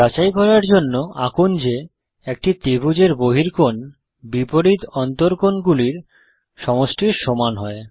যাচাই করার জন্য আঁকুন যে একটি ত্রিভুজের বহিকোণ বিপরীত অন্তকোণ গুলির সমষ্টির সমান হয়